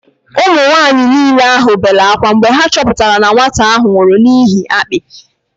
Ụmụ nwanyị niile bere ákwá mgbe ha chọpụtara na nwatakịrị ahụ nwụrụ n'ihi akpị